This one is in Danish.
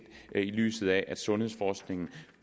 i lyset af at sundhedsforskningen